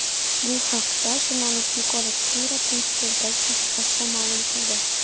Bu haqda jurnalist Nikola Skira Twitter’dagi sahifasida ma’lum qildi .